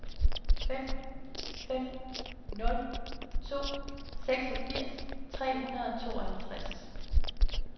fem fem nul to seksogfirs tre hundrede og tooghalvtreds